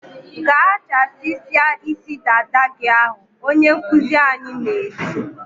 "Gaa chasisia isi dada gị ahụ!" Onye nkuzi anyị na-eti.